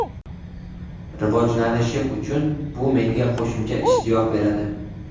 Rivojlanishim uchun bu menga qo‘shimcha ishtiyoq beradi.